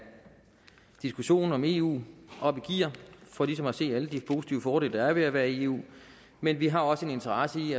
diskussionen om eu op i gear for ligesom at se alle de positive fordele der er ved at være i eu men vi har også en interesse i